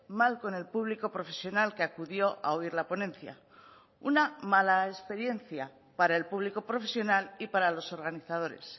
mal con el público profesional que acudió a oír la ponencia una mala experiencia para el público profesional y para los organizadores